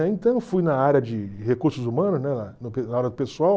Então eu fui na área de recursos humanos, né na pessoal.